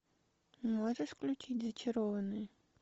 можешь включить зачарованные